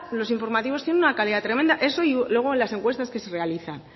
los informativos tienen una calidad tremenda eso y luego las encuestas que se realizan